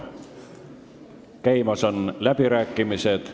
Käimas on läbirääkimised.